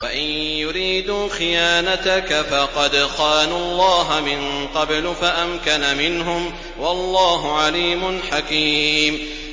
وَإِن يُرِيدُوا خِيَانَتَكَ فَقَدْ خَانُوا اللَّهَ مِن قَبْلُ فَأَمْكَنَ مِنْهُمْ ۗ وَاللَّهُ عَلِيمٌ حَكِيمٌ